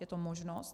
Je to možnost.